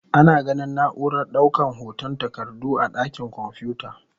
Ana ganin na'urar daukar hotan takardu a dakin kwamfuta.